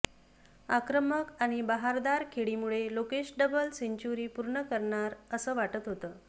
आक्रमक आणि बहारदार खेळीमुळे लोकेश डबल सेंच्युरी पूर्ण करणार असं वाटत होतं